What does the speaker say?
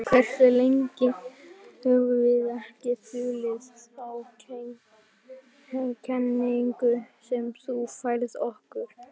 Hversu lengi höfum við ekki þulið þá kenningu sem þú færðir okkur?